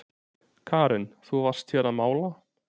Karen: Þú varst hér að mála?